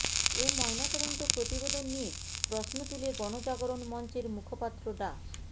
এ ময়নাতদন্ত প্রতিবেদন নিয়ে প্রশ্ন তুলে গণজাগরণ মঞ্চের মুখপাত্র ডা